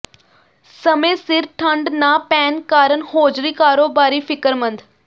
ਸਮੇਂ ਸਿਰ ਠੰਢ ਨਾ ਪੈਣ ਕਾਰਨ ਹੌਜ਼ਰੀ ਕਾਰੋਬਾਰੀ ਫਿਕਰਮੰਦ